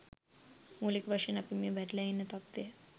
මූලික වශයෙන් අපි මේ වැටිලා ඉන්න තත්ත්වය